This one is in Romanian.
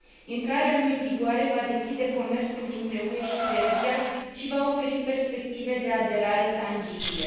Intrarea lui în vigoare va deschide comerțul dintre UE și Serbia și va oferi perspective de aderare tangibile.